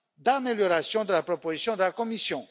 d'amélioration de la proposition de la Commission.